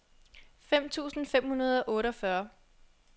fem tusind fem hundrede og otteogfyrre